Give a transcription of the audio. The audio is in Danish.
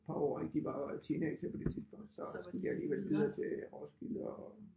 Par år ik de var jo teenagere på det tidspunkt så skulle de alligevel videre til Roskilde og